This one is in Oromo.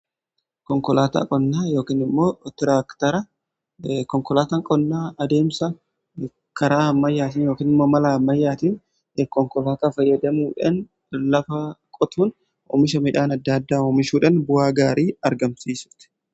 Konkolaataa qonnaa adeemsa karaa hamayyaatiin yokin immoo malaa amayyaatiin yookiin konkolaataa fayyadamuudan lafa qotuun oomisha midhaan adda addaa oomishuudhan bu'aa gaarii argamsiisuti